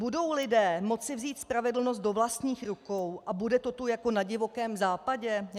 Budou lidé moci vzít spravedlnost do vlastních rukou a bude to tu jako na Divokém západě?